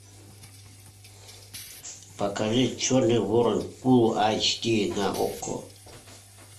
покажи черный ворон фул айч ди на окко